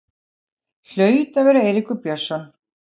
Hlaut að vera Eiríkur Björnsson.